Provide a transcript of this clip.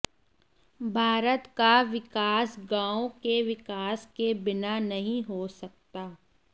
भारत का विकास गाँवों के विकास के बिना नहीं हो सकता